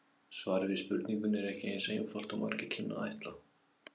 Svarið við spurningunni er ekki eins einfalt og margur kynni að ætla.